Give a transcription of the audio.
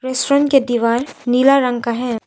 Restaurant के दिवाला नीला रंग का है।